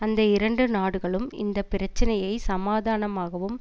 அந்த இரண்டு நாடுகளும் இந்த பிரச்சினையை சமாதானமாகவும்